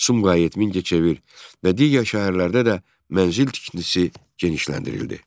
Sumqayıt, Mingəçevir və digər şəhərlərdə də mənzil tikintisi genişləndirildi.